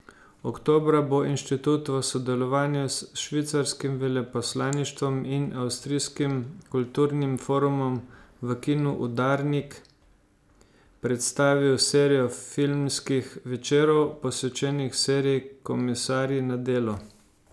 Oktobra bo inštitut v sodelovanju s švicarskim veleposlaništvom in avstrijskim kulturnim forumom v kinu Udarnik predstavil serijo filmskih večerov, posvečenih seriji Komisarji na delu.